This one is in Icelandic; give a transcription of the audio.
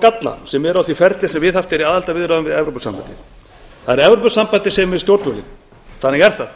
galla sem eru á því ferli sem viðhaft er í aðildarviðræðum við evrópusambandið það er evrópusambandið sem er við stjórnvölinn þannig er það